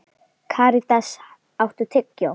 Karítas, áttu tyggjó?